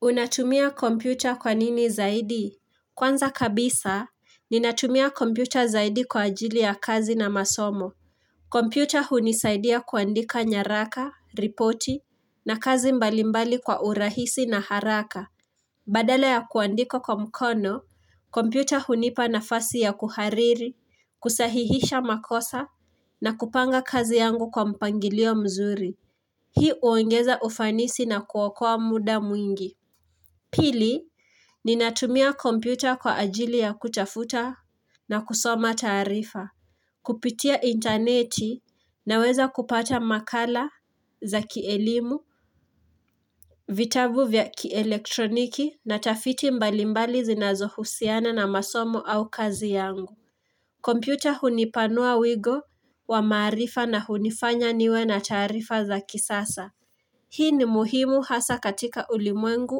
Unatumia kompyuta kwanini zaidi? Kwanza kabisa, ninatumia kompyuta zaidi kwa ajili ya kazi na masomo. Kompyuta hunisaidia kuandika nyaraka, ripoti, na kazi mbalimbali kwa urahisi na haraka. Badala ya kuandika kwa mkono, kompyuta hunipa nafasi ya kuhariri, kusahihisha makosa, na kupanga kazi yangu kwa mpangilio mzuri. Hii huongeza ufanisi na kuokoa muda mwingi. Pili, ninatumia kompyuta kwa ajili ya kutafuta na kusoma taarifa. Kupitia intaneti, ninaweza kupata makala za kielimu, vitabu vya kielektroniki na tafiti mbalimbali zinazohusiana na masomo au kazi yangu. Kompyuta hunipanua wigo wa maarifa na hunifanya niwe na taarifa za kisasa. Hii ni muhimu hasa katika ulimwengu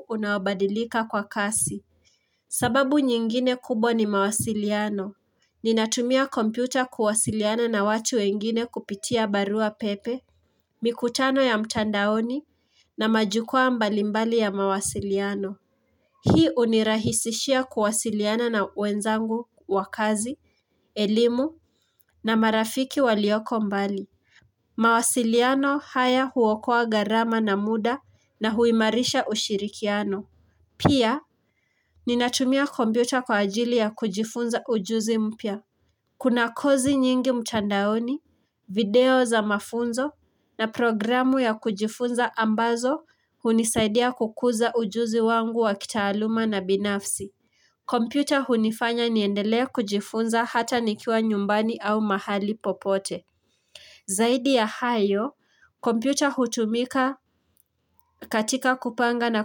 unaobadilika kwa kasi. Sababu nyingine kubwa ni mawasiliano, ninatumia kompyuta kuwasiliana na watu wengine kupitia barua pepe, mikutano ya mtandaoni na majukwaa mbalimbali ya mawasiliano. Hii hunirahisishia kuwasiliana na wenzangu, wa kazi, elimu na marafiki walioko mbali. Mawasiliano haya huokoa gharama na muda na huimarisha ushirikiano. Pia, ninatumia kompyuta kwa ajili ya kujifunza ujuzi mpya. Kuna kozi nyingi mtandaoni, video za mafunzo na programu ya kujifunza ambazo hunisaidia kukuza ujuzi wangu wa kitaaluma na binafsi. Kompyuta hunifanya niendelee kujifunza hata nikiwa nyumbani au mahali popote. Zaidi ya hayo, kompyuta hutumika katika kupanga na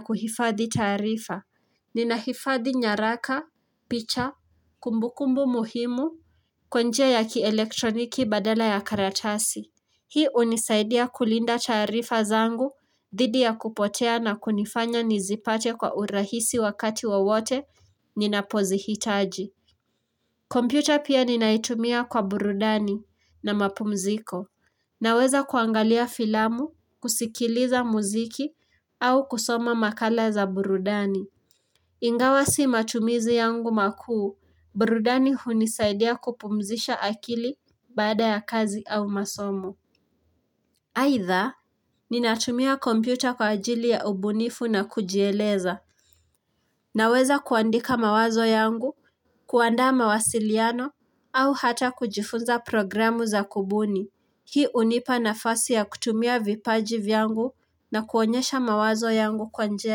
kuhifadhi taarifa. Nina hifadi nyaraka, picha, kumbukumbu muhimu, kwa njia ya kielektroniki badala ya karatasi. Hii hunisaidia kulinda chaarifa zangu, dhidi ya kupotea na kunifanya nizipate kwa urahisi wakati wowote ninapozihitaji. Kompyuta pia ninaitumia kwa burudani na mapumziko. Ninaweza kuangalia filamu, kusikiliza muziki au kusoma makala za burudani. Ingawa si matumizi yangu makuu, burudani hunisaidia kupumzisha akili baada ya kazi au masomo. Aidha, ninatumia kompyuta kwa ajili ya ubunifu na kujieleza, naweza kuandika mawazo yangu, kuandaa mawasiliano, au hata kujifunza programu za kubuni. Hii hunipa nafasi ya kutumia vipaji vyangu na kuonyesha mawazo yangu kwa njia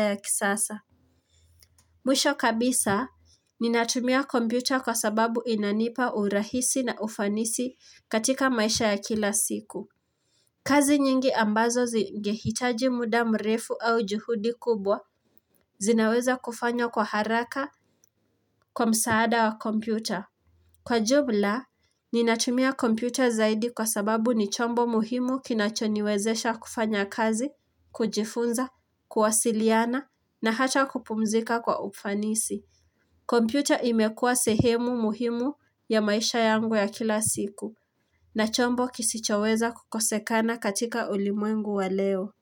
ya kisasa. Mwisho kabisa, ninatumia kompyuta kwa sababu inanipa urahisi na ufanisi katika maisha ya kila siku. Kazi nyingi ambazo zingehitaji muda mrefu au juhudi kubwa zinaweza kufanywa kwa haraka kwa msaada wa kompyuta. Kwa jumla, ninatumia kompyuta zaidi kwa sababu ni chombo muhimu kinachoniwezesha kufanya kazi, kujifunza, kuwasiliana na hata kupumzika kwa ufanisi. Kompyuta imekuwa sehemu muhimu ya maisha yangu ya kila siku na chombo kisichoweza kukosekana katika ulimwengu wa leo.